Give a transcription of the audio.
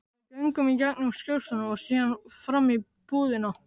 Við göngum í gegnum skrifstofuna og síðan fram í búðina.